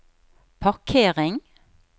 parkering